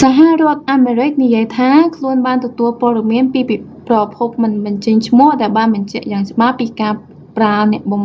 សហរដ្ឋអាមរិកនិយាយថា ខ្លួនបានទទួលព័ត៌មានពីប្រភពមិនបញ្ចេញឈ្មោះដែលបានបញ្ជាក់យ៉ាងច្បាស់ពីការប្រើអ្នកបំ